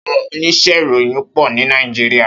Áwòn óníṣè iróyin pò ni Nàijiriá